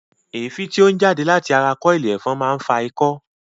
Èéfín tí ó ń jáde láti ara kọ́ọ̀ìlì ẹ̀fọn máa ń fa ikọ́